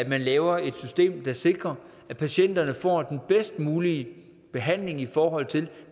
man laver et system der sikrer at patienterne får den bedst mulige behandling i forhold til